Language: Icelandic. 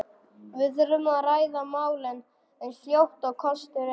Við þurfum að ræða málin eins fljótt og kostur er.